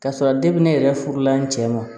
K'a sɔrɔ ne yɛrɛ furula n cɛ ma